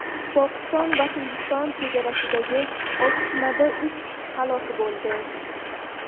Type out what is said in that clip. Pokiston va Hindiston chegarasidagi otishmada uch kishi halok bo‘ldi.